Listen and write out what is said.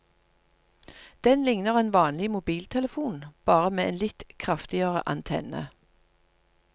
Den ligner en vanlig mobiltelefon, bare med en litt kraftigere antenne.